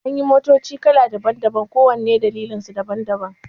Anyi motoci kala daban-daban kowanne da dalilansu daban-daban